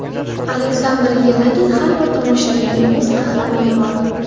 Aleksandr Yelagin: Har bir tomoshabinning o‘z qahramoni bor.